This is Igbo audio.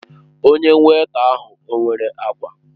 Onye weịta ahụ ọ nwere agwa?